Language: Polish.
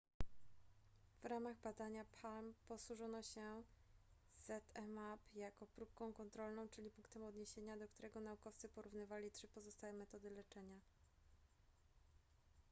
w ramach badania palm posłużono się zmapp jako próbką kontrolną czyli punktem odniesienia do którego naukowcy porównywali trzy pozostałe metody leczenia